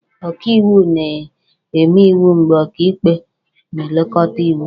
Ọkaiwu na-eme iwu mgbe ọkaikpe na-elekọta iwu